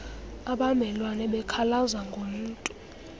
abamelwane bekhalaza ngomntu